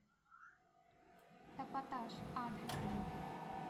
эпатаж адрес